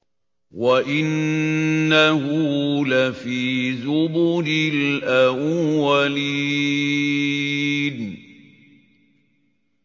وَإِنَّهُ لَفِي زُبُرِ الْأَوَّلِينَ